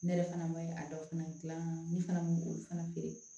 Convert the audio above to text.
Ne yɛrɛ fana ma a dɔw fana gilan ne fana feere